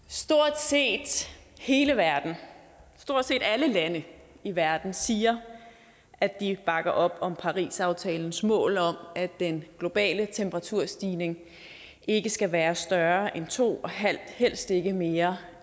stort set hele verden stort set alle lande i verden siger at de bakker op om parisaftalens mål om at den globale temperaturstigning ikke skal være større end to og helst ikke mere